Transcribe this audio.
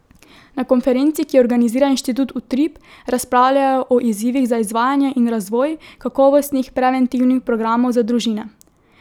Na konferenci, ki jo organizira Inštitut Utrip, razpravljajo o izzivih za izvajanje in razvoj kakovostnih preventivnih programov za družine.